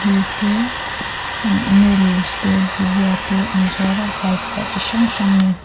te ah noodles te bhujia te an zuar a halpuah chi hrang hrang nen--